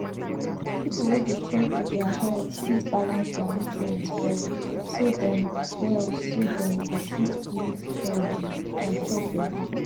people wey dey care for their health fit balance their nutrient well so dem well so dem go fit live healthy and chop better